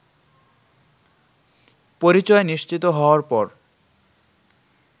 পরিচয় নিশ্চিত হওয়ার পর